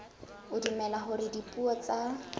o dumela hore dipuo tsa